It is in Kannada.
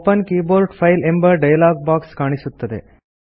ಒಪೆನ್ ಕೀಬೋರ್ಡ್ ಫೈಲ್ ಎಂಬ ಡಯಲಾಗ್ ಬಾಕ್ಸ್ ಕಾಣಿಸುತ್ತದೆ